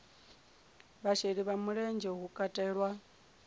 vhasheli vha mulenzhe hu katelwa